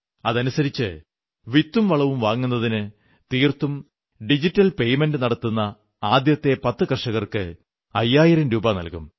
അതനുസരിച്ച് വിത്തും വളവും വാങ്ങുന്നതിന് തീർത്തും ഡിജിറ്റൽ പേയ്മെന്റ് നടത്തുന്ന ആദ്യത്തെ 10 കർഷകർക്ക് അയ്യായിരം രൂപ നല്കും